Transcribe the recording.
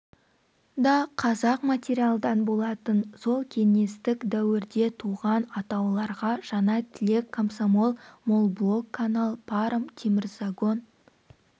да қызыл материалдан болатын сол кеңестік дәуірде туған атауларға жаңатілек комсомол молблок канал паром темірзагон